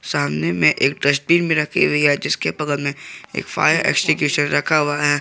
सामने में एक डस्टबीन भी रखी हुई है जिसके बगल में एक फायर एक्सटिंग्विशर रखा हुआ हैं।